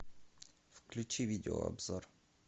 включи видеообзор